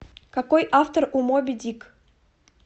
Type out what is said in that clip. какой автор у моби дик